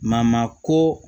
ko